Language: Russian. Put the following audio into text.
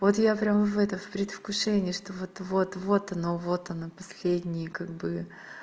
вот я прямо в это в предвкушении что вот-вот вот оно вот оно последнее как бы